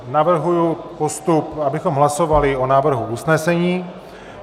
Navrhuji postup, abychom hlasovali o návrhu usnesení.